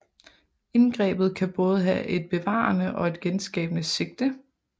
Indgrebet kan både have et bevarende og et genskabende sigte